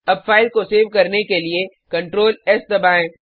अब फाइल को सेव करने के लिए Ctrls दबाएँ